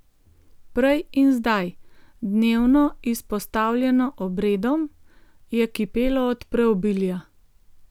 Prej in zdaj, dnevno izpostavljeno obredom, je kipelo od preobilja.